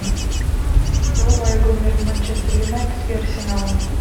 врубай игру между манчестер юнайтед и арсеналом